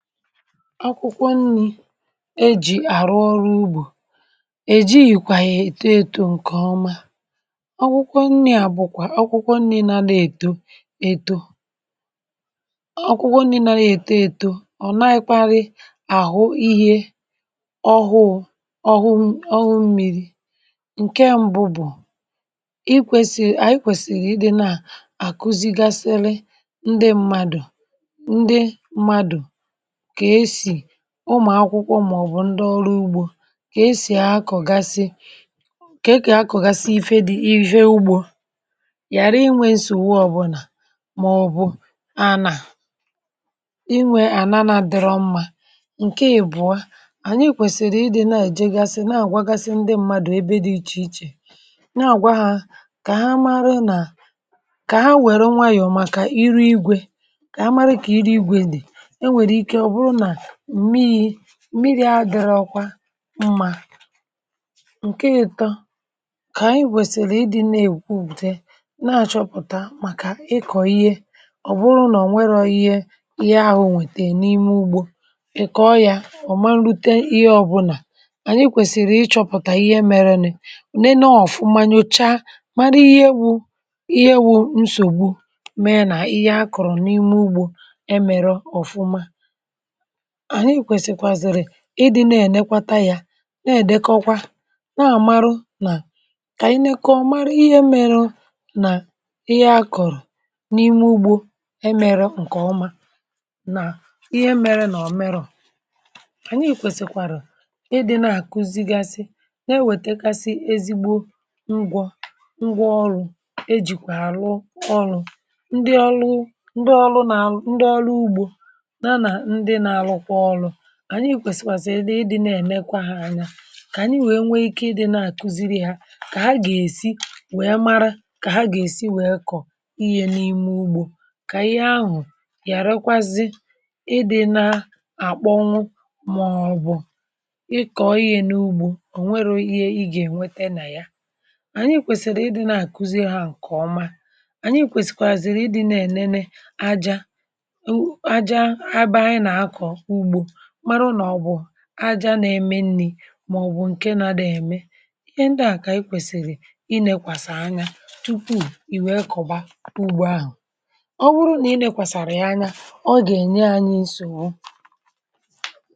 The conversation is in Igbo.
akwụkwọ nni̇ ejì àrụ ọrụ ugbȯ, èji yìkwà yà èto èto ǹkẹ̀ ọma. akwụkwọ nni̇ àbùkwà akwụkwọ nni̇ nȧdȧ èto èto, um akwụkwọ nni̇ nȧdȧ èto èto ọ̀ na-ekwarị àhụ ihe ọhụ̇ ọhụ, mmi̇ri ǹkẹ̀ mbụ bụ̀ i kwèsì, ànyị kwèsìrì ịdị̇ nà àkuzigasịrị ndị mmadù, ndị mmadù, ụmụ̀ akwụkwọ màọ̀bụ̀ ndị ọrụ ugbȯ, kà esì akọ̀gasị, kà e kà akọ̀gasị ife dị̀ usho ugbȯ, yàra inwė sòwa ọ̀bụlà màọ̀bụ̀ anà inwė ànana dịrọ mmȧ. ǹke ìbụ̀a, ànyị kwèsìrì ịdị̇ na èjègasị̇ na àgwaggasị ndị mmadù ebe di ịchè ịchè nà àgwa ha, kà ha mara nà kà ha wère nwayọ̀, màkà iru igwė, kà mara nà iru igwė dị̀ mmi̇ri̇, adị̇rọ̇kwa mmȧ. ǹke yȧ tọ, kà ànyị kwèsìrì ịdị̇ na-èkw bute na-achọpụ̀ta màkà ịkọ̀ ihe; ọ̀ bụrụ nà ò nwerọ̇ ihe, ihe ahụ̇ nwètè n’ime ugbȯ, ị̀kọọ yȧ ọ̀ ma nrite ihe. ọ̇bụ̇nà ànyị kwèsìrì ịchọ̇pụ̀tà ihe mere, nị̇ òne nà ọ̀fụma nyòcha, mara ihe bụ̇ ihe bụ̇ nsògbù, mee nà ihe akọ̀rọ̀ n’ime ugbȯ e mere ọ̀fụma. ànyị kwèsìkwàzìrì ịdị̇ na-ènekwata ya, na-èdekọkwa, na-àmarụ nà kà ànyị nekọọ, mara ihe mėrȯ nà ihe akọ̀rọ̀ n’ime ugbȯ emere ǹkèọma, nà ihe mėrė nà ọ̀ merọ̀. ànyị ìkwèsìkwàrà ịdị̇nà kuzigasị, na-ewètekasị ezigbo ngwọ̇ ngwọ ọrụ̇ e jìkwà àlụ ọrụ̇ ndị ọrụ, ndị ọrụ nà à, ndị ọrụ ugbȯ. ànyị kwèsìkwàsìrì ịdị̇ nà-èmekwa hȧ anya, kà ànyị nwèe nwee ikė ịdị̇ nà-àkuziri ha, kà ha gà-èsi nwèe mara, kà ha gà-èsi nwèe kọ̀ ihe n’ime ugbȯ; kà ihe ahụ̀ yàerekwazị ịdị̇ na-àkpọnwụ, màọbụ̇ ịkọ̀ ihe n’ugbȯ. ò nwero ihe ị gà-ènweta nà ya, ànyị kwèsìrì ịdị̇ nà-àkuziri ha ǹkè ọma. ànyị kwèsìkwàzìrì ịdị̇ nà-ènene aja aja nà-eme nni̇ màọbụ̀ ǹke nȧdị̇ ème ihe ndị à; kà ànyị kwèsìrì ị nėkwàsàrà anya tupu ì nwèe kọ̀ba ugbȯ ahụ̀. ọ wụrụ nà ị nėkwàsàrà ya anya, ọ gà-ènye anyị nsò.